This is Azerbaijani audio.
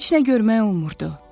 Heç nə görmək olmurdu.